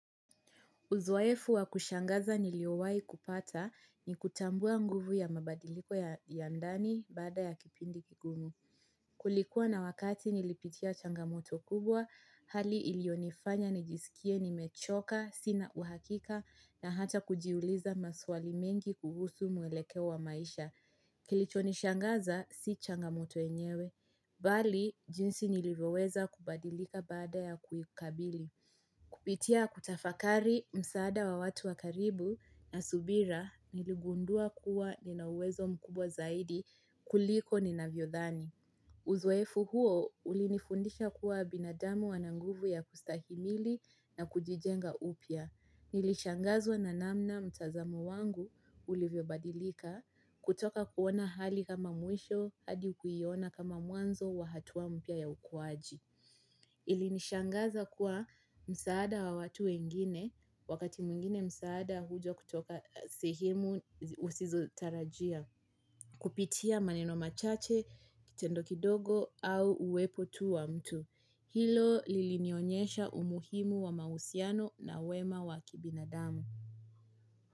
Uzoefu wa kushangaza niliowai kupata ni kutambua nguvu ya mabadiliko ya ndani baada ya kipindi kigumu. Kulikuwa na wakati nilipitia changamoto kubwa, hali ilionifanya nijisikie nimechoka, sina uhakika, na hata kujiuliza maswali mengi kuhusu mwelekeo wa maisha. Kilicho nishangaza, si changamoto enyewe. Bali, jinsi nilivyoweza kubadilika baada ya kuikabili. Kupitia kutafakari msaada wa watu wa karibu na subira niligundua kuwa nina uwezo mkubwa zaidi kuliko ninavyodhani. Uzoefu huo ulinifundisha kuwa binadamu wana nguvu ya kustahimili na kujijenga upia. Nilishangazwa na namna mtazamo wangu ulivyobadilika kutoka kuona hali kama mwisho hadi kuiona kama mwanzo wa hatuwa mpia ya ukuaji. Ilinishangaza kuwa msaada wa watu wengine wakati mwingine msaada huja kutoka sehemu usizotarajia. Kupitia maneno machache, tendo kidogo au uwepo tu wa mtu. Hilo lilinionyesha umuhimu wa mahusiano na wema wa kibinadamu.